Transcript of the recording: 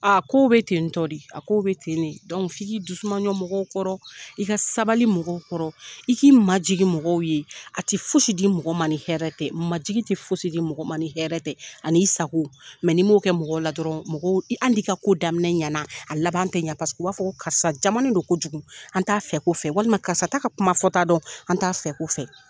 kow bɛ tentɔ de, a kow bɛ ten ne f'i k'i dusumaɲɔn mɔgɔw kɔrɔ, i ka sabali mɔgɔw kɔrɔ, i k'i majigin mɔgɔw ye, a ti fosi di mɔgɔ man ni hɛrɛ tɛ majigi ti fosi di mɔgɔ man ni hɛrɛ tɛ, ani i sago n'i m'o kɛ mɔgɔw la dɔrɔn, mɔgɔ hali n'i ka ko daminɛ ɲɛna , a labanan tɛ ɲɛ paseke, u b'a fɔ ko karisa jamanen don kojugu, an t'a fɛko fɛ walima, karisa t'a ka kuma fɔta dɔn an t'a fɛko fɛ.